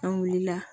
An wulila